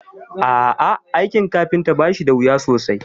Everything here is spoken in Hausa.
A'ah, aikin kafinta bashi dawuya sosai